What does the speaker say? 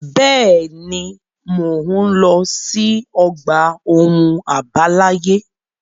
Bẹ́ẹ̀ ni, mò ń lọ sí ọgbà ohun àbáláyé.